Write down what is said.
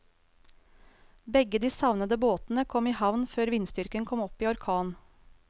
Begge de savnede båtene kom i havn før vindstyrken kom opp i orkan.